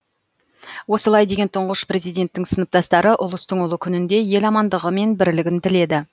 осылай деген тұңғыш президенттің сыныптастары ұлыстың ұлы күнінде ел амандығы мен бірлігін тіледі